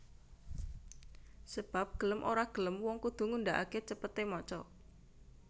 Sebab gelem ora gelem wong kudu ngundhaake cepete maca